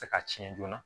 Tɛ se ka tiɲɛ joona